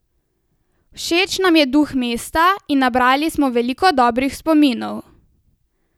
Všeč nam je duh mesta in nabrali smo veliko dobrih spominov!